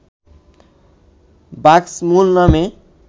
বাক্সমুন নামে